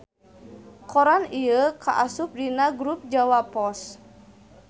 Koran ieu kaasup dina grup Jawa Pos.